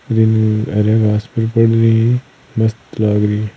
हरे घास पे ही पड़ रही है मस्त लाग रही है।